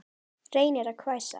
Reynir að hvæsa.